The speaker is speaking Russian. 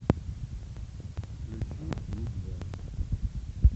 включи у два